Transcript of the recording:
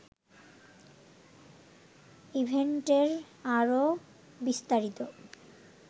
ইভেন্টের আরও বিস্তারিত